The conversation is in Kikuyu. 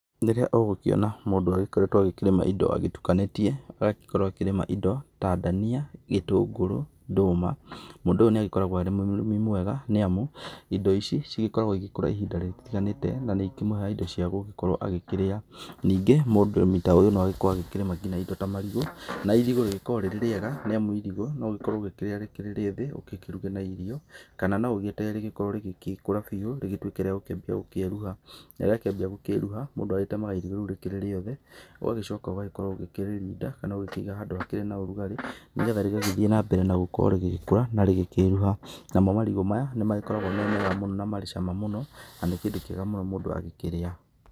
Rĩrĩa ũgũkĩona mũndũ agĩkoretwo akĩrĩma ĩndo agĩtukanĩgie, agagĩkorwo akĩrĩma ĩndo ta ndania, gĩtũngũrũ, ndũma mũndũ ũyũ nĩ agĩkoragwo arĩ mũrĩmi mwega nĩamu ĩndo ici cigĩkoragwo ĩgĩkũra ihinda rĩtiganĩte na nĩ itũmaga ĩndo ciagũgĩkorwo agĩkĩrĩa. Ningĩ mũrĩmi ta ũyũ no agĩkorwo akĩrĩma ngina ĩndo ta marigũ, na ĩrigũ rĩkoragwo rĩrĩ rĩega nĩamu ĩrigũ no rĩkorwo ũkĩrĩa rĩrĩ rĩa thĩ ũkĩruge na irio kana no ũgĩeterere rĩkorwo rĩgĩkũra bĩũ na rĩtuĩke rĩa gũkĩambia gũkĩruha, na rĩakĩambia gũkĩruha mũndũ agĩtemaga ĩrigũ rĩu rĩĩ rĩothe ũgagĩcoka ũgakorwo ũgĩkĩrĩrinda kana ũgĩkĩiga handũ hakĩrĩ na ũrugarĩ nĩgetha rĩgagĩthĩĩ nambere na gũkorwo rĩgĩkũra na rĩkĩruha. Namo marigũ maya nĩ magĩkoragwo marĩ mega mũno na marĩ cama mũno, na nĩ kĩndũ kĩega mũndũ agĩkĩrĩa